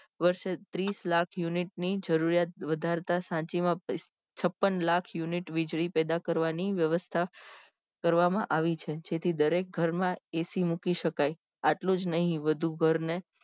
વર્ષે ત્રીસ લાખ unit ની જરૂરિયાત વધારતા સાંચી માં છપ્પન લાખ unit વીજળી પેદા કરવાની વ્યવસ્થા કરવામાં આવી છે જેથી દરેક ઘર માં AC મુકાઇ શકાય આટલું જ નહિ વધુ ઘર ને